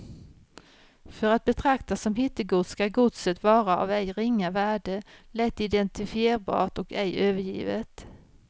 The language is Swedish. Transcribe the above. För att betraktas som hittegods skall godset vara av ej ringa värde, lätt identifierbart och ej övergivet.